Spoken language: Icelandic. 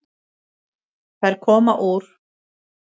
Þær koma úr